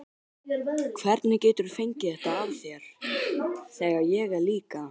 Hvernig geturðu fengið þetta af þér, þegar ég er líka.